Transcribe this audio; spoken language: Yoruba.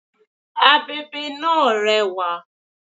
This fan is colourful